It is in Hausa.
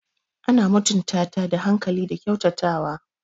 Ana mutunta ta da hankali da kyautatawa.